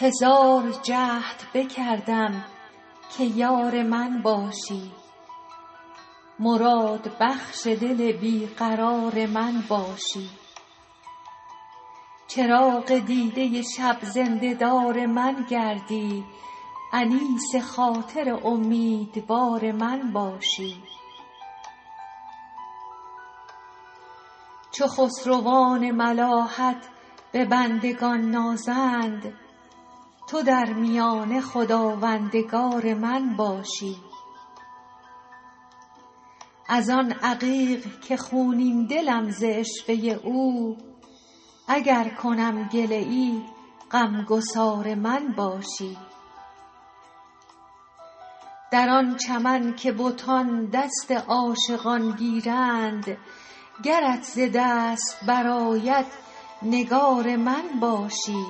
هزار جهد بکردم که یار من باشی مرادبخش دل بی قرار من باشی چراغ دیده شب زنده دار من گردی انیس خاطر امیدوار من باشی چو خسروان ملاحت به بندگان نازند تو در میانه خداوندگار من باشی از آن عقیق که خونین دلم ز عشوه او اگر کنم گله ای غم گسار من باشی در آن چمن که بتان دست عاشقان گیرند گرت ز دست برآید نگار من باشی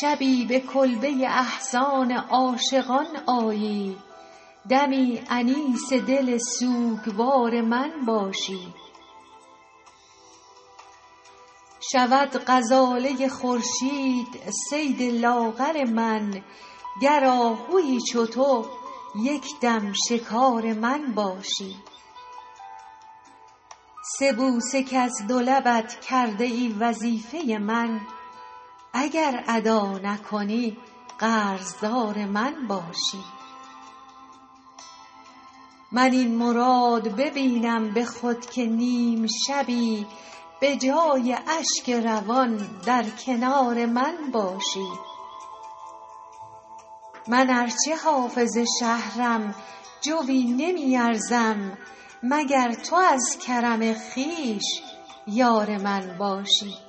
شبی به کلبه احزان عاشقان آیی دمی انیس دل سوگوار من باشی شود غزاله خورشید صید لاغر من گر آهویی چو تو یک دم شکار من باشی سه بوسه کز دو لبت کرده ای وظیفه من اگر ادا نکنی قرض دار من باشی من این مراد ببینم به خود که نیم شبی به جای اشک روان در کنار من باشی من ار چه حافظ شهرم جویی نمی ارزم مگر تو از کرم خویش یار من باشی